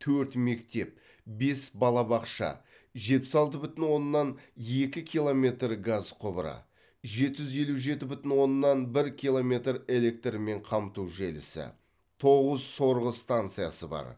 төрт мектеп бес балабақша жетпіс алты бүтін оннан екі километр газ құбыры жеті жүз елу жеті бүтін оннан бір километр электрмен қамту желісі тоғыз сорғы стансасы бар